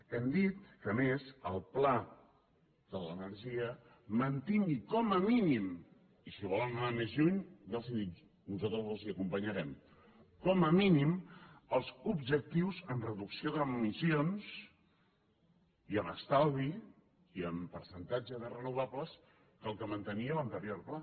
hem dit que a més el pla de l’energia mantingui com a mínim i si volen anar més lluny ja els ho dic nosaltres els hi acompanyarem com a mínim els objectius en reducció d’emissions i en estalvi i en percentatge de renovables que els que mantenia l’anterior pla